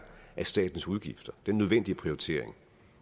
af statens udgifter den nødvendige prioritering